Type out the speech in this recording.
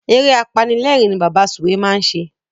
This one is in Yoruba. Eré apanilérìn ni Bàbá Sùwé máa ń ṣe.